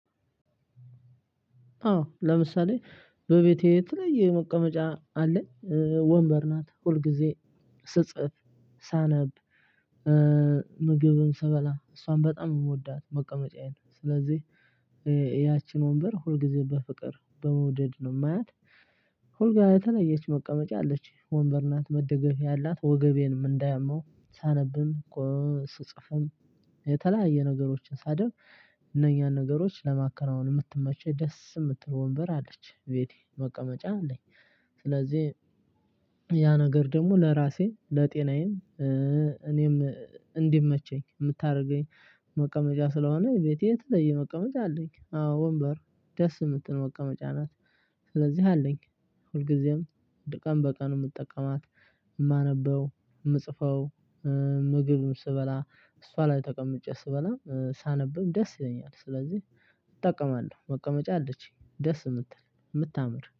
አዎ ለምሳሌ በቤቴ የተለየ መቀመጫ አለ። ወንበር ናት ሁልጊዜ ስጽፍ ሳነብ ምግብም ስበላ እሷን በጣም የምወዳት መቀመጫዬን ስለዚህ ያቺን ወንበር ሁልጊዜ በፍቅር በመውደድ ነው የማያት። ሁል ጋር የተለየች መቀመጫ አለች ወንበር ናት መደገፊያ አላት ወገቤንም እንዳያመው ሳነብም እኮ ስጽፍም የተለያየ ነገሮችን ሳደርግ እነኛን ነገሮች ለማከናወን የምትመቸኝ ደስ የምትል ወንበር አለች ቤቴ መቀመጫ አለኝ። ስለዚህ ያ ነገር ደግሞ ለራሴ ለጤናዬም እኔም እንዲመቸኝ የምታደርገኝ መቀመጫ ስለሆነ ቤቴ የተለየ መቀመጫ አለኝ። አዎ ወንበር ደስ የምትል መቀመጫ ናት። ስለዚህ አለኝ ሁልጊዜም ድ ቀን በቀን የምጠቀማት የማነበው የምጽፈው። ምግብም ስበላ እሷ ላይ ተቀምጬ ስበላ ሳነብም ደስ ይለኛል። ስለዚህ እጠቀማለሁ መቀመጫ አለችኝ ደስ የምትል የምታምር